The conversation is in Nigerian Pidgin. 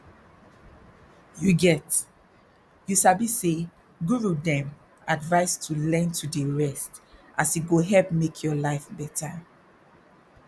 you get you sabi say guru dem advise to learn to dey rest as e go help make your life better